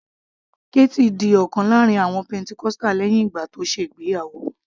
Kathy di ọ̀kan lára àwọn pentecostal lẹ́hìn ìgbà tó ṣe ìgbéyàwó